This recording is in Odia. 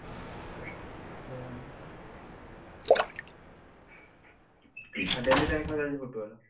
ବାବା ରେ ଯାହା ହଉ, ଆଉ daily ତାହେଲେ ଖେଳ ଚାଲିଛି Football ?